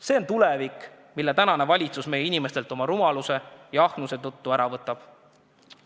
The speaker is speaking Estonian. See on tulevik, mille tänane valitsus meie inimestelt oma rumaluse ja ahnuse tõttu ära võtab.